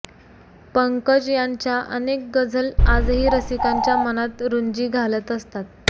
पंकज यांच्या अनेक गझल आजही रसिकांच्या मनात रुंजी घालत असतात